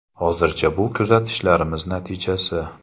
Hozircha bu kuzatishlarimiz natijasi.